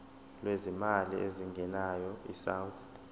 lwezimali ezingenayo isouth